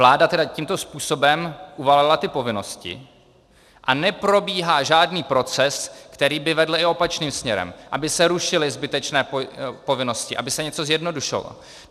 Vláda tedy tímto způsobem uvalila ty povinnosti a neprobíhá žádný proces, který by vedl i opačným směrem, aby se rušily zbytečné povinnosti, aby se něco zjednodušilo.